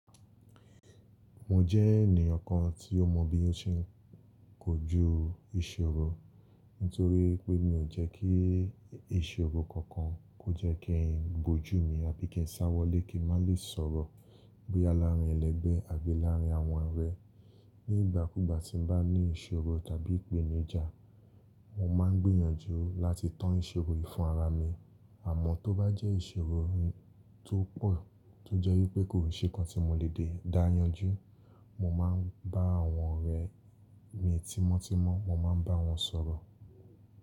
Mo jẹ́ ènìyàn kan tí ó mọ bí ó ṣe ń kojú ìṣòro, nítorí pé mi ò jẹ́ kí ìṣòro kankan kó jẹ́ kí n bojú mi àbí kí n sáwọlé kí n má lè sọ̀rọ̀ bóyá láàárín ẹlẹgbẹ́ àbí láàrin àwọn ọ̀rẹ́. Ni ìgbà kúgbà tí n bá ní ìṣòro tàbí ìpèníjà, mo máa ń gbìyànjú láti tán ìṣòro yìí fún ara mi. Àmọ́ tó bá jẹ́ ìṣòro tó pọ̀ tó jẹ́ wípé kò ṣe nkan tí mo lè dé dáa yanjú, mo máa ń bá àwọn ọ̀rẹ́ mi tímọ́ tímọ́, mo máa ń bá wọn sọ̀rọ̀.